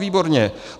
Výborně.